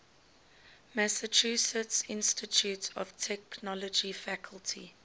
massachusetts institute of technology faculty